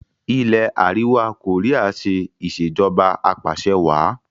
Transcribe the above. ilé àríwá Korea ṣe Ìṣèjọba Apàṣẹwàá